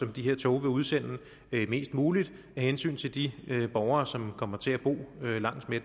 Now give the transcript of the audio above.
de her tog vil udsende mest muligt af hensyn til de borgere som kommer til at bo langs med